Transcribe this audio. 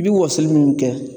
I bi wɔsoli minnu kɛ